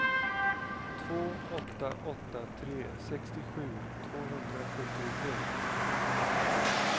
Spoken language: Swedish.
två åtta åtta tre sextiosju tvåhundrasjuttiotre